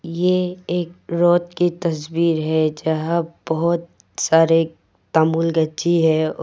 ये एक रोड़ की तस्वीर है जहाँ बहुत सारे है।